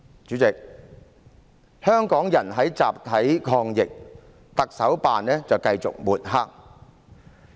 主席，香港人在集體抗疫，特首辦卻繼續抹黑。